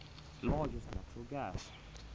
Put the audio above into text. largest natural gas